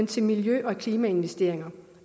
til miljø og klimainvesteringer